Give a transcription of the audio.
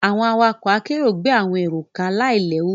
Àwọn awakọ̀ àkerọ gbé àwọn èrò ká láì léwu.